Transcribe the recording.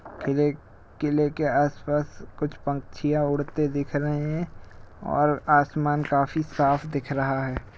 किले किले के आसपास कुछ पंछिया उड़ते दिख रहें हैं और आसमान काफी साफ दिख रहा है।